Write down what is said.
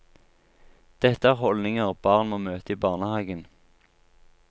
Dette er holdninger barn må møte i barnehagen.